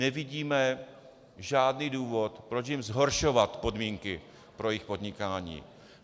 Nevidíme žádný důvod, proč jim zhoršovat podmínky pro jejich podnikání.